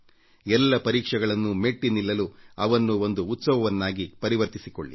ಎಲ್ಲ ಪರೀಕ್ಷೆಗಳನ್ನೂ ಮೆಟ್ಟಿ ನಿಲ್ಲಲು ಅವನ್ನು ಒಂದು ಉತ್ಸವವಾಗಿ ಪರಿವರ್ತಿಸಿಕೊಳ್ಳಿ